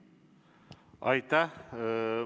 Aitäh!